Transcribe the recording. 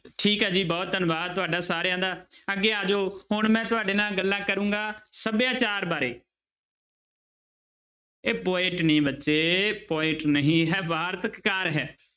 ਠੀਕ ਹੈ ਜੀ ਬਹੁਤ ਧੰਨਵਾਦ ਤੁਹਾਡਾ ਸਾਰਿਆਂ ਦਾ ਅੱਗੇ ਆ ਜਾਓ, ਹੁਣ ਮੈਂ ਤੁਹਾਡੇ ਨਾਲ ਗੱਲਾਂ ਕਰਾਂਗਾ ਸਭਿਆਚਾਰ ਬਾਰੇ ਇਹ poet ਨੀ ਬੱਚੇ poet ਨਹੀਂ ਹੈ ਵਾਰਤਕ ਕਾਰ ਹੈ।